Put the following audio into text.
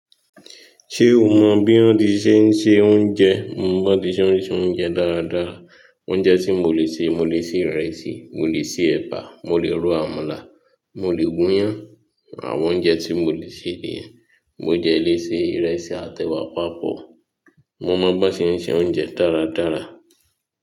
Ṣé o mọ bí wọ́n ti ṣe ń se oúnjẹ? Mo mọ bí wọ́n ti ṣe ń se oúnjẹ dáadáa. Oúnjẹ tí mo lè ṣe, mo lè ṣe ìrẹsì, mo lè se ẹ̀bà, mo lè ro àmàlà, mo lè gúnyán. Àwọn oúnjẹ tí mo lè ṣe nìyẹn mo dẹ̀ lè ṣe ìrẹsì àt’ẹ̀wà papọ̀. Mo mọ bí wọ́n bọ́n ti ń ṣe oúnjẹ dáradára.